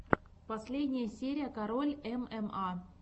последняя серия король мма